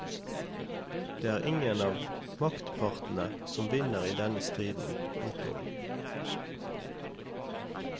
Det er ingen av maktpartene som vinner i denne striden. punktum